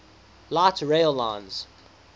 light rail lines